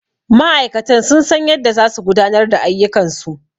Ma'aikatan sun san yadda za su gudanar da ayyukan su